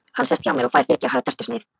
Hvort hann haldi að möguleikar séu á slíku.